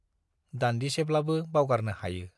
दान्दिसेब्लाबो बावगारनो हायो।